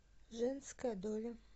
женская доля